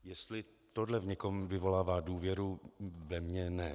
Jestli tohle v někom vyvolává důvěru, ve mně ne.